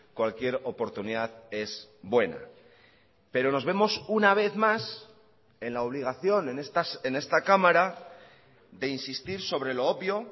cualquier oportunidad es buena pero nos vemos una vez más en la obligación en esta cámara de insistir sobre lo obvio